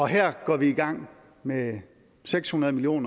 her går vi i gang med seks hundrede million